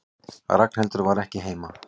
Ragnhildur var ekki heima.